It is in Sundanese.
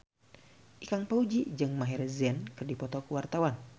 Ikang Fawzi jeung Maher Zein keur dipoto ku wartawan